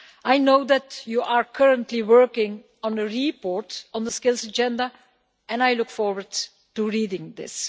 I know that you are currently working on a report on the Skills Agenda and I look forward to reading this.